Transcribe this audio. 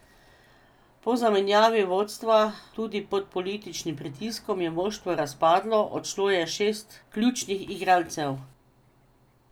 Po zamenjavi vodstva, tudi pod političnim pritiskom, je moštvo razpadlo, odšlo je šest ključnih igralcev.